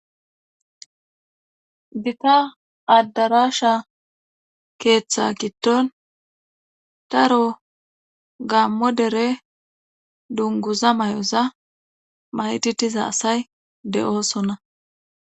Bika addarasha keeththa kitton taro gammo dere dunguza may7oza maytidiza asay de'oosonna.